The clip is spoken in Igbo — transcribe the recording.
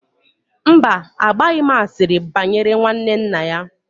Mba, agbaghị m asịrị banyere nwanne nna ya